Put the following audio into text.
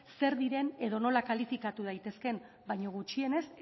zer diren edo nola kalifikatu daitezkeen baino gutxienez